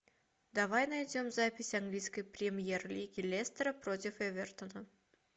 давай найдем запись английской премьер лиги лестера против эвертона